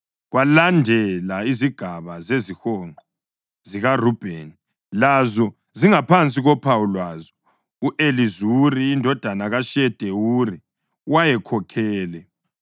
Kwalandela izigaba zezihonqo zikaRubheni, lazo zingaphansi kophawu lwazo. U-Elizuri indodana kaShedewuri wayekhokhele.